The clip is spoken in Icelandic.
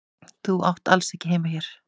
Þú átt alls ekki heima hér.